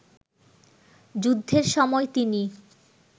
যুদ্ধের সময় তিনি